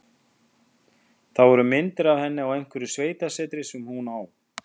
Það voru myndir af henni á einhverju sveitasetri sem hún á.